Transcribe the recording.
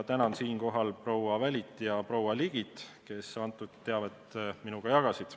Tänan siinkohal proua Välit ja proua Ligit, kes teavet minuga jagasid.